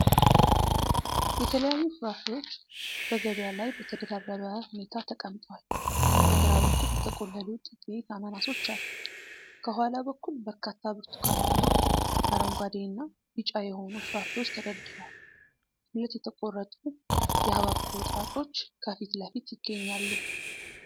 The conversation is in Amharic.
የተለያዩ ፍራፍሬዎች በገበያ ላይ በተደራረበ ሁኔታ ተቀምጠዋል። በግራ በኩል የተቆለሉ ጥቂት አናናሶች አሉ። ከኋላ በኩል በርካታ ብርቱካናማ፣ አረንጓዴ እና ቢጫ የሆኑ ፍራፍሬዎች ተደርድረዋል። ሁለት የተቆረጡ የሐብሐብ ቁርጥራጮች ከፊት ለፊት ይገኛሉ።